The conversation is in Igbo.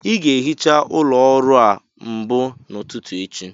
Ị ga-ehicha ụlọ ọrụ a mbụ n'ụtụtụ echi